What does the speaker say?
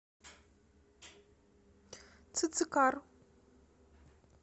цицикар